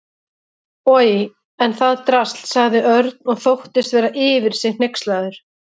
Oj, en það drasl sagði Örn og þóttist vera yfir sig hneykslaður.